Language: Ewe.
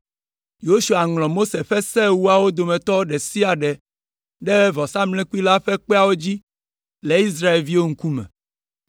Yosua ŋlɔ Mose ƒe Se Ewoawo dometɔ ɖe sia ɖe ɖe vɔsamlekpui la ƒe kpeawo dzi le Israelviwo ŋkume.